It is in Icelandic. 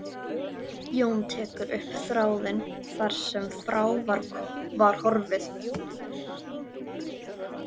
Jón tekur upp þráðinn þar sem frá var horfið.